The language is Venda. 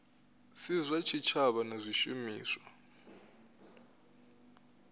si zwa tshitshavha na zwishumiswa